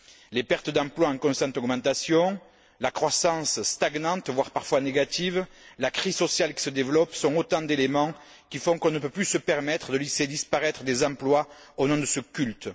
Les pertes d'emploi en constante augmentation, la croissance stagnante, voire parfois négative, la crise sociale qui se développe sont autant d'éléments qui font qu'on ne peut plus se permettre de laisser disparaître des emplois au nom de ce culte.